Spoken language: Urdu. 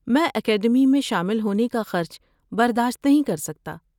میں اکیڈمی میں شامل ہونے کا خرچ برداشت نہیں کرسکتا۔